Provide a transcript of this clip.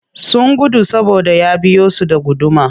Sun gudu saboda ya biyo su da guduma